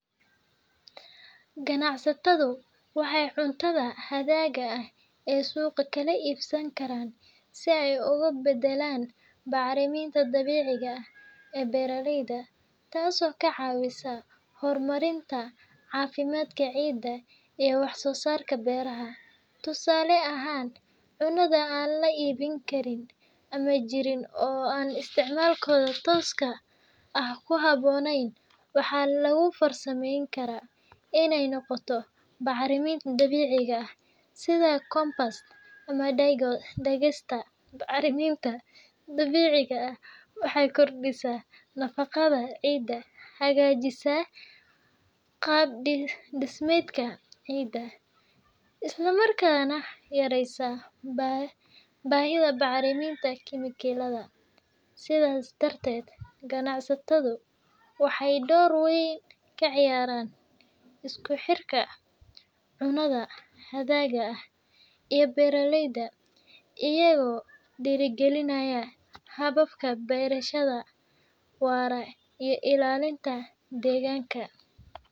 Ganacsatadu waxay cuntada hadhaga ah ee suuqa ka iibsan karaan si ay ugu beddelaan bacriminta dabiiciga ah ee beeralayda, taasoo ka caawisa horumarinta caafimaadka ciidda iyo wax-soo-saarka beeraha. Tusaale ahaan, cunnada aan la iibin karin ama jirin oo aan isticmaalka tooska ah ku habboonayn waxaa lagu farsameyn karaa inay noqoto bacriminta dabiiciga ah sida compost ama digesta. Bacrimintan dabiiciga ah waxay kordhisaa nafaqada ciidda, hagaajisaa qaab-dhismeedka ciidda, isla markaana yareysa baahida bacriminta kiimikada. Sidaas darteed, ganacsatada waxay door weyn ka ciyaaraan isku xirka cunnada hadhaga ah iyo beeralayda, iyagoo dhiirrigelinaya hababka beerashada waara iyo ilaalinta deegaanka.